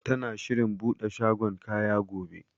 Tana shirin buɗe shagon kaya gobe.